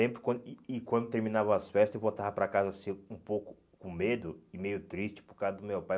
lembro quando E e quando terminava as festas eu voltava para casa assim um pouco com medo e meio triste por causa do meu pai.